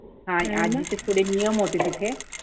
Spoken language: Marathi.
आज्जी चे थोडे नियम होते तिथे